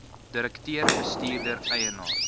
direkteur bestuurder eienaar